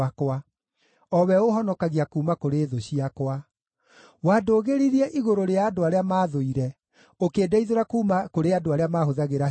o we ũũhonokagia kuuma kũrĩ thũ ciakwa. Wandũgĩririe igũrũ rĩa andũ arĩa maathũire; ũkĩndeithũra kuuma kũrĩ andũ arĩa mahũthagĩra hinya.